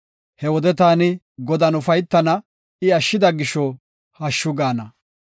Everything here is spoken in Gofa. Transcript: He wode taani Godan ufaytana; I ashshida gisho hashshu gaana.